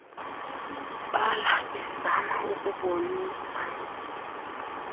bala bezama ukubonisa